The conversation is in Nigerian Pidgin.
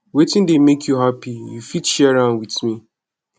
wetin dey make you happy you fit share with me